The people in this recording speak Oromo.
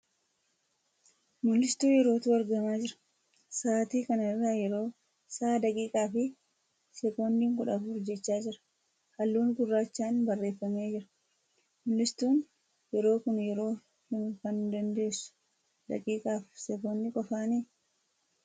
Mul'istuu yerootu argamaa jira. Sa'aatii kana irraa yeroo sa'a daqiiqaa fi sekoondii kudha afur jechaa jira. halluun gurraachaan barreeffamee jira. Mul'istuun yeroo kun yeroo himuu kan dandeessu daqiiqaa fi sekoondii qofaanii?